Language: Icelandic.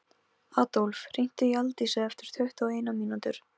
Adólf, hringdu í Aldísi eftir tuttugu og eina mínútur.